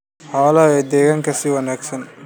xoolaha iyo deegaanka si wanaagsan.